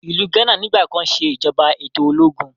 Ilú Ghana nigbakan se ìjọba eto ológun.